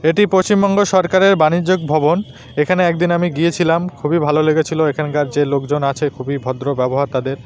এটি পশ্চিমবঙ্গ সরকারের বাণিজ্যক ভবন | এখানে একদিন আমি গিয়েছিলাম খুবই ভালো লেগেছিল এখানকার যে লোকজন আছে খুবই ভদ্র ব্যবহার তাদের।